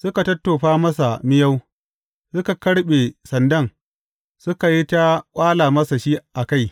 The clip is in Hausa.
Suka tattofa masa miyau, suka karɓe sandan, suka yi ta ƙwala masa shi a kai.